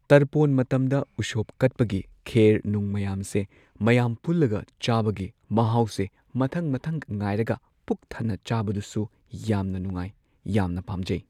ꯇꯔꯄꯣꯟ ꯃꯇꯝꯗ ꯎꯁꯣꯞ ꯀꯠꯄꯒꯤ ꯈꯦꯔ ꯅꯨꯡ ꯃꯌꯥꯝꯁꯦ ꯃꯌꯥꯝ ꯄꯨꯜꯂꯒ ꯆꯥꯕꯒꯤ ꯃꯍꯥꯎꯁꯦ ꯃꯊꯪ ꯃꯊꯪ ꯉꯥꯏꯔꯒ ꯄꯨꯛ ꯊꯟꯅ ꯆꯥꯕꯗꯨꯁꯨ ꯌꯥꯝ ꯅꯨꯡꯉꯥꯏ ꯌꯥꯝ ꯄꯥꯝꯖꯩ